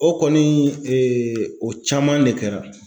O kɔni o caman de kɛra.